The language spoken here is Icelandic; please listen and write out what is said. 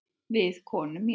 Við konu mína.